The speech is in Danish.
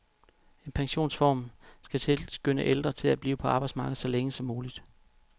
En pensionsreform skal tilskynde ældre til at blive på arbejdsmarkedet så længe som muligt.